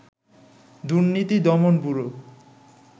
দুর্নীতি দমন ব্যুরো